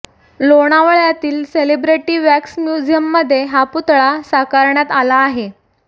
लोणावळ्यातील celebrity wax म्युझियममध्ये हा पुतळा साकारण्यात आला आहे